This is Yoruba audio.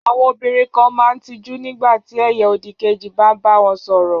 Àwọn obìnrin kan máa ń tijú nígbà tí ẹ̀yà òdìkejì bá bá wọn sọ̀rọ̀.